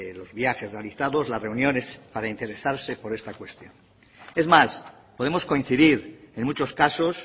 los viajes realizados las reuniones para interesarse por esta cuestión es más podemos coincidir en muchos casos